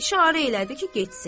İşarə elədi ki, getsin.